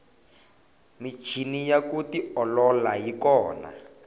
michini ya ku tiolola yi kona